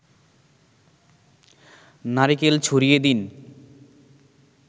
নারিকেল ছড়িয়ে দিন